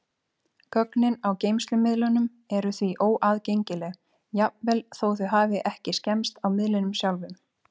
Gögnin á geymslumiðlunum eru því óaðgengileg, jafnvel þó þau hafi ekki skemmst á miðlinum sjálfum.